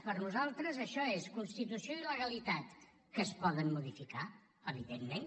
per nosaltres això és constitució i legalitat que es poden modificar evidentment